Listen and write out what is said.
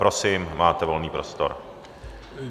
Prosím, máte volný prostor.